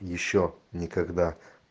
ещё никогда